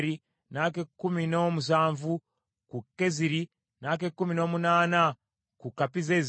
n’ak’ekkumi n’omusanvu ku Keziri, n’ak’ekkumi n’omunaana ku Kapizzezi,